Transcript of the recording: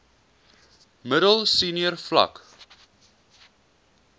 middel senior vlak